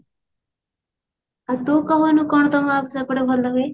ଆଉ ତୁ କହୁନୁ କଣ ତମ ସେପଟେ ଭଲ ହୁଏ